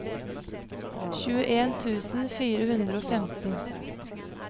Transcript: tjueni tusen fire hundre og femten